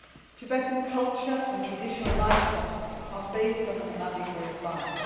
Tibetan culture and traditional lifestyles are based on a nomadic way of life.